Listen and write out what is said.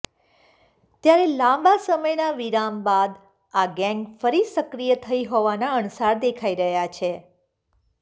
ત્યારે લાબા સમયના વિરામ બાદ આ ગેંગ ફરી સક્રિય થઈ હોવાના અણસાર દેખાઈ રહ્યા છે